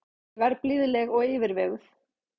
Ég verð blíðleg og yfirveguð.